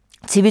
TV 2